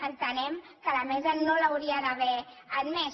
entenem que la mesa no l’hauria d’haver admès